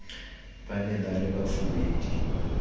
ba ne ba le bafubedi